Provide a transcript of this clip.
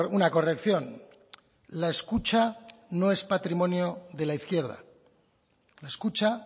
una corrección la escucha no es patrimonio de la izquierda la escucha